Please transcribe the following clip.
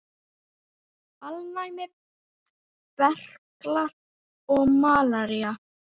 Alnæmi, berklar og malaría